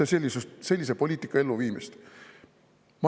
– toetatakse sellise poliitika elluviimist.